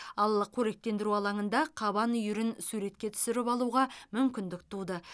ал қоректендіру алаңында қабан үйірін суретке түсіріп алуға мүмкіндік туды